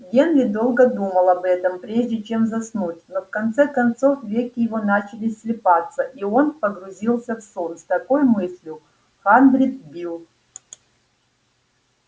генри долго думал об этом прежде чем заснуть но в конце концов веки его начали слипаться и он погрузился в сон с такой мыслью хандрит билл